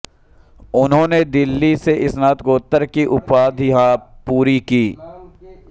उन्होंने दिल्ली से स्नातक की उपाधि पूरी की